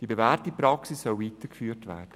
Die bewährte Praxis soll weitergeführt werden.